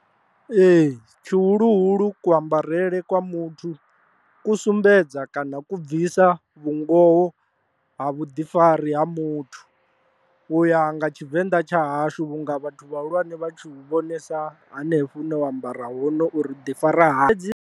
Ee, tshihuluhulu ku ambarele kwa muthu ku sumbedza kana ku bvisa vhungoho ha vhuḓifari ha muthu, uya nga tshivenḓa tsha hashu vhunga vhathu vhahulwane vha tshi vhu vhonesa hanefho hune wa ambara hone uri u ḓi fara hani.